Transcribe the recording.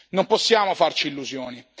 Non possiamo farci illusioni.